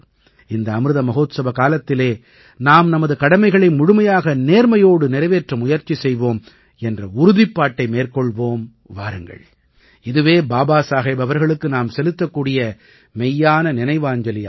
இந்த அமிர்த மஹோத்சவ காலத்திலே நாம் நமது கடமைகளை முழுமையான நேர்மையோடு நிறைவேற்ற முயற்சி செய்வோம் என்ற உறுதிப்பாட்டை மேற்கொள்வோம் வாருங்கள் இதுவே பாபா சாஹேப் அவர்களுக்கு நாம் செலுத்தக்கூடிய மெய்யான நினைவாஞ்சலியாகும்